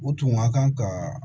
U tun ka kan ka